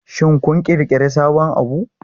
Shin kun ƙirƙiri sabon abu?